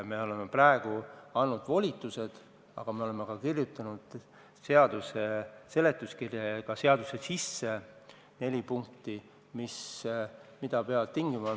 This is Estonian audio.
Me oleme praegu andnud volitused, aga me oleme ka kirjutanud seaduse seletuskirja ja ka seadusse sisse neli punkti, mida tuleb arvestada.